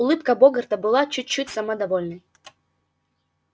улыбка богарта была чуть-чуть самодовольной